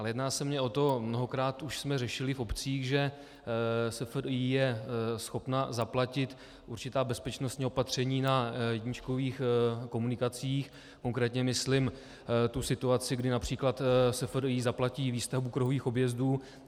Ale jedná se mi o to, mnohokrát už jsme řešili v obcích, že SFDI je schopen zaplatit určitá bezpečnostní opatření na jedničkových komunikacích, konkrétně myslím tu situaci, kdy například SFDI zaplatí výstavbu kruhových objezdů.